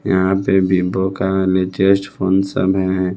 यहां पे है।